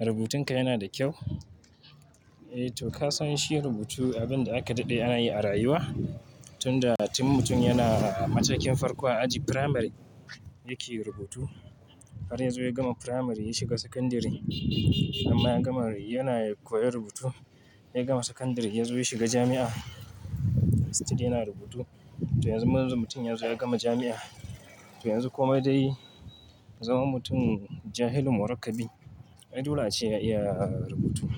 Rubutunka yana da kyau. Eh to, ka san shi rubutu abin da aka daɗe ana yi a rayuwa. Tunda tin mutum yana a matakin farko a aji firamari yake rubutu. Har yanzu ya gama firamari ya shiga sakandire, hamma yana koyar rubutu. Ya gama sakandire, yazo ya shiga jami'a. Still yana rubutu. To yanzu manzon mutum yanzu ya gama jami'a. To yanzu kuma dai zama mutum jahil mu rakkabi. Aidole ace ya iya rubutu.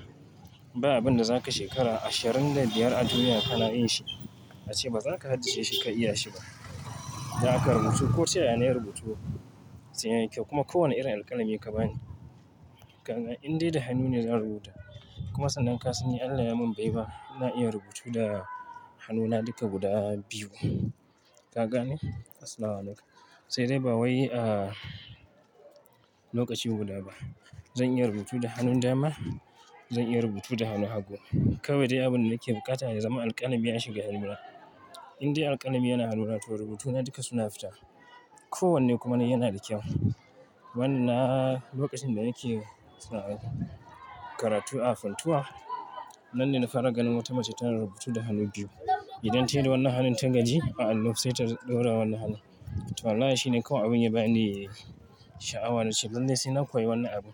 Ba abin da zaka shekara ashirin da biyar a duniya kana yin shi, ace baza ka haddace shi ka iya shi ba. Don haka rubutu. Ko ta yaya nayi rubutu sai yayi kyau kuma kowane irin alkalami ka bani. Indai da hannu ne zan rubuta. Kuma sannan ka sani Allah ya mun baiwa, ina iya rubutu da hannuna duka guda biyu. Ka gane? As-salamu alaykum. Sai dai ba wai, ah, lokaci guda ba. Zan iya rubutu da hannun dama, zan iya rubutu da hannu hagu. Kawai dai abin da nake buƙata ya zama alƙalami ya shiga hannuna. Indai alkalami yana hannuna to rubutuna duka suna fita. Kowanne kuma nayi yana da kyau. Wannan lokacin da nake karatu a Funtuwa, nan ne na fara ganin wata mace tana rubutu da hannu biyu. Idan tayi da wani hannun tagaji, sai ta ɗora wani hannu. To wallahi shi ne kawai abin ya bani sha'awa nace. Lallai sai na koyi wannan abu.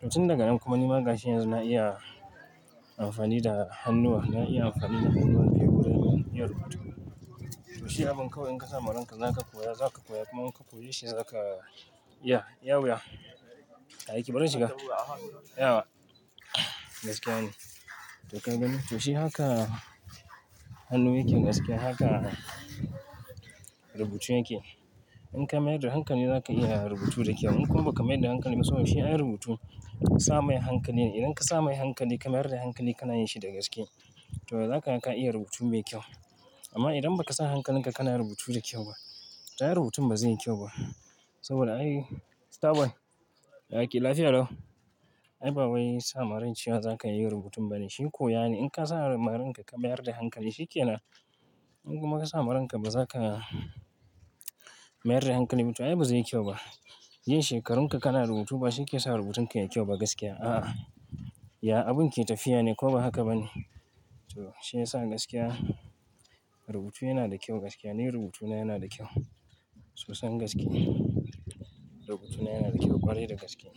To tun daga nan kuma ni magashi yanzu na iya amfani da hannuwa, na iya amfani da hannuna biyu gurin iya rubutu. To shi abin kawai in ka sa marinka zaka koya, zaka koya kuma in ka koyi shi zaka iya, iya wuya. Bari shiga. Yaya? Gaskiya ne. To ka gani? To shi haka hannu yake gaskiya. Haka rubutu yake. In ka mayar da hankali zaka iya rubutu da kyau. In kuma ba ka mayar da hankali ba saboda shi ai rubutu sa mai hankali ne. Idan ka sa mai hankali, ka mayar da hankali kana yin shi da gaske. To za kaga ka iya rubutu mai kyau. Amma idan ba ka sa hankalinka kana rubutu da kyau ba, to ai rubutun ba zai yi kyau ba. Saboda ai, star boy Ya kake lafiya lau. Ai ba wai sa maran cewa zaka yin rubutun bane. Shi koya ne. In ka sa maranka ka mayar da hankali shi yake nan. In kuma ka sa maranka ba zaka mayar da hankali ba to ai ba zai yi kyau ba. Yin shekarun ka kana rubutu ba shi ke sa rubutun ka yayi kyau ba gaskiya. A'a. Ya abun ke tafiya ne ko ba haka ba ne. To shi ya sa gaskiya rubutu yana da kyau gaskiya. Ni rubutuna yana da kyau. Sosai gaske. Rubutuna yana da kyau ƙwarai da gaske.